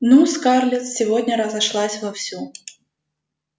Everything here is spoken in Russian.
ну скарлетт сегодня разошлась вовсю